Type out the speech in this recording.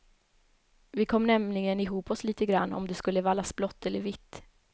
Vi kom nämligen ihop oss lite grann om det skulle vallas blått eller vitt.